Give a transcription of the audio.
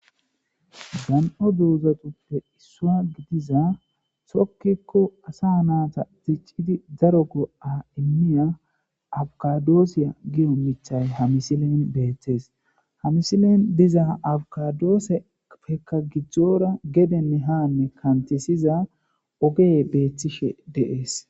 Dandho dozathuppe isswa gidishin tokiko assa naththa diccidi daro goo' imiya abkadosiya giyo mithay ha missilen bethess. Ha missilen dizza abkadossepekka gidora gedene ha kanthisiza oge bethishe de'ss.